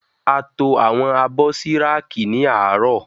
A to àwọn abọ́ sí rákì ní àárọ̀.